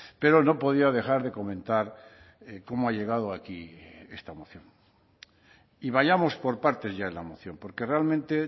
pero no podía dejar de comentar cómo ha llegado aquí esta moción y vayamos por partes ya en la moción porque realmente